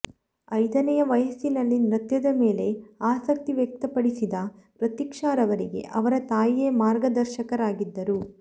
ಐದನೆಯ ವಯಸ್ಸಿನಲ್ಲಿ ನೃತ್ಯದ ಮೇಲೆ ಆಸಕ್ತಿ ವ್ಯಕ್ತಪಡಿಸಿದ ಪ್ರತೀಕ್ಷಾರವರಿಗೆ ಅವರ ತಾಯಿಯೇ ಮಾರ್ಗದರ್ಶಕರಾಗಿದ್ದರು